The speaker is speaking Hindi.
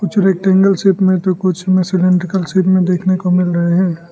कुछ रैक्टेंगुलर शेप में तो कुछ सिलैंडरिकल शेप में देखने को मिल रहे हैं।